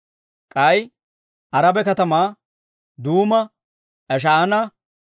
K'ay Araba katamaa, Duuma, Esh"aana,